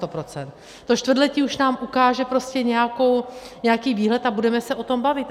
To čtvrtletí už nám ukáže prostě nějaký výhled a budeme se o tom bavit.